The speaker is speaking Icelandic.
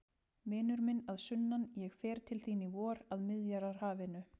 Vinur minn að sunnan, ég fer til þín í vor, að Miðjarðarhafinu.